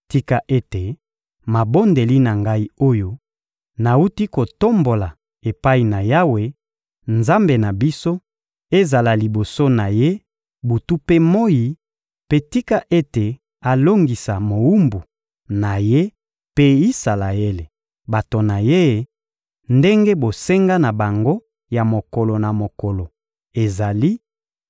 Tika ete mabondeli na ngai oyo nawuti kotombola epai na Yawe, Nzambe na biso, ezala liboso na Ye butu mpe moyi; mpe tika ete alongisa mowumbu na Ye mpe Isalaele, bato na Ye, ndenge bosenga na bango ya mokolo na mokolo ezali;